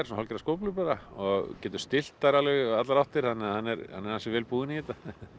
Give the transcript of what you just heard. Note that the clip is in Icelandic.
hálfgerðar skóflur og getur stillt þær í allar áttir þannig að hann er ansi vel búinn í þetta